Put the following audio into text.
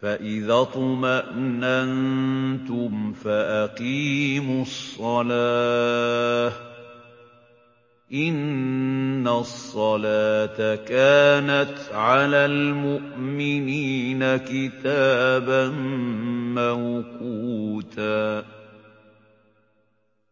فَإِذَا اطْمَأْنَنتُمْ فَأَقِيمُوا الصَّلَاةَ ۚ إِنَّ الصَّلَاةَ كَانَتْ عَلَى الْمُؤْمِنِينَ كِتَابًا مَّوْقُوتًا